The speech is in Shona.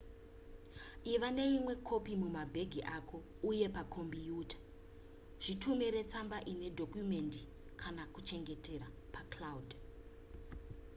iva neimwe kopi mumabhegi ako uye pakombiyuta zvitumire tsamba ine dhokumendi kana kuchengetera pa cloud"